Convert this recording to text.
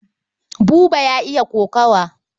Buba ya iya kokawa.